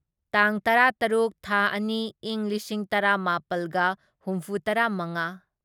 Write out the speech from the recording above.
ꯇꯥꯡ ꯇꯔꯥꯇꯔꯨꯛ ꯊꯥ ꯑꯅꯤ ꯢꯪ ꯂꯤꯁꯤꯡ ꯇꯔꯥꯃꯥꯄꯜꯒ ꯍꯨꯝꯐꯨꯇꯔꯥꯃꯉꯥ